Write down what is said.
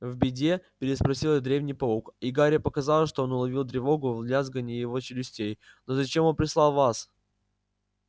в беде переспросил древний паук и гарри показалось что он уловил тревогу в лязганье его челюстей но зачем он прислал вас